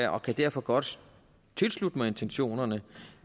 og kan derfor godt tilslutte mig intentionerne